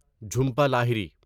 Jhumpa Lahiri